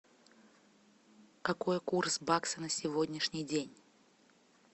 какой курс бакса на сегодняшний день